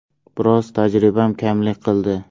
Biroz tajribam kamlik qildi.